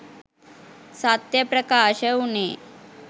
සත්‍යය ප්‍රකාශ වුණේ